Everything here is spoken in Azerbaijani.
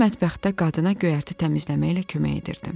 Mən mətbəxdə qadına göyərti təmizləməklə kömək edirdim.